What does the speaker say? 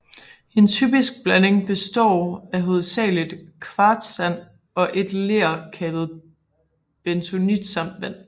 En typisk blanding består af hovedsagelig kvartssand og et ler kaldet bentonit samt vand